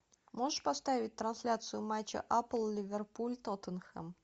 можешь поставить трансляцию матча апл ливерпуль тоттенхэм